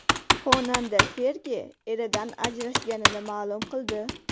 Xonanda Fergi eridan ajrashganini ma’lum qildi.